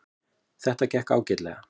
Þetta gekk ágætlega